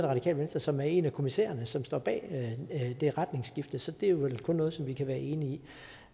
radikale venstre som er en af kommissærerne som står bag det retningsskifte så det er vel kun noget som vi kan være enige